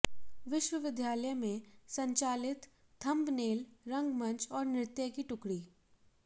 विश्वविद्यालय में संचालित थंबनेल रंगमंच और नृत्य की टुकड़ी